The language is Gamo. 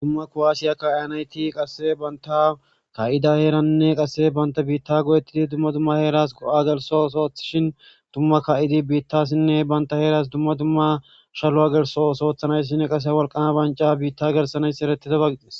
dumma kuwaasiya kaianyti qasse banta ka7ida heeranne qasse banta biitta godettidi dumma dumma heeras go7a gelso soothishin dumma ka7idi biittassinne banta heeras dumma dumma shalu7a gelso soothanayssinne qase walqama banca biitta gersanayss eretide bagixes